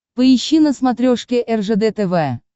поищи на смотрешке ржд тв